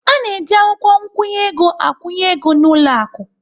A na-eji akwụkwọ nkwụnye ego akwụnye ego n'ụlọ akụ.